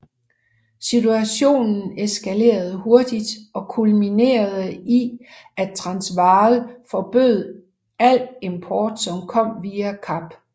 Situationen eskalerede hurtigt og kulminerede i at Transvaal forbød al import som kom via Kap